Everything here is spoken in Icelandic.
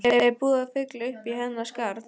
Er búið að fylla uppí hennar skarð?